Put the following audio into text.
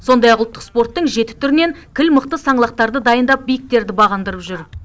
сондай ақ ұлттық спорттың жеті түрінен кіл мықты саңлақтарды дайындап биіктерді бағындырып жүр